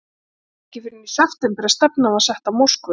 Það var ekki fyrr en í september að stefnan var sett á Moskvu.